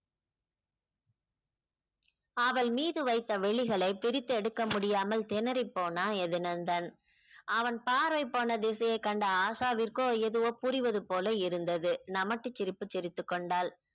அவள் மீது வைத்த விழிகளை பிரித்தெடுக்க முடியாமல் திணறி போனான் எதுநந்தன் அவன் பார்வை போன திசையை கண்டு ஆஷாவிற்க்கோ எதுவோ புரிவது போல இருந்தது நமட்டு சிரிப்பு சிரித்துக் கொண்டாள்